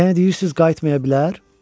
Yəni deyirsiz qayıtmaya bilər?